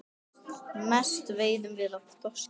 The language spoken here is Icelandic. Mest veiðum við af þorski.